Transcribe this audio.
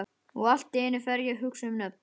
Og allt í einu fer ég að hugsa um nöfn.